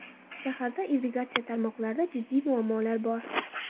Shaharda irrigatsiya tarmoqlarida jiddiy muammolar bor.